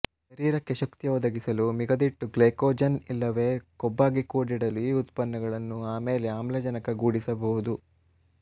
ಶರೀರಕ್ಕೆ ಶಕ್ತಿ ಒದಗಿಸಲೂ ಮಿಗದಿಟ್ಟು ಗ್ಲೈಕೊಜನ್ ಇಲ್ಲವೇ ಕೊಬ್ಬಾಗಿ ಕೂಡಿಡಲೂ ಈ ಉತ್ಪನ್ನಗಳು ಆಮೇಲೆ ಆಮ್ಲಜನಕಗೂಡಿಸಬಹುದು